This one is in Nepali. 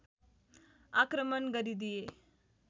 आक्रमण गरिदिए